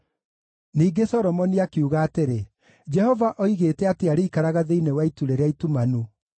Ningĩ Solomoni akiuga atĩrĩ, “Jehova oigĩte atĩ arĩikaraga thĩinĩ wa itu rĩrĩa itumanu.